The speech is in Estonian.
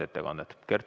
Kert Kingo, palun!